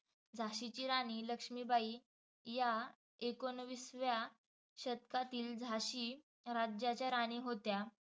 झाशीची राणी लक्ष्मीबाई या एकोणवीसव्या शतकातील झाशी राज्याच्या राणी होत्या.